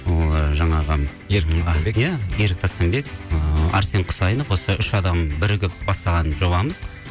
ы жаңағы иә ерік тастанбек ыыы әрсен құсайынов осы үш адам бірігіп бастаған жобамыз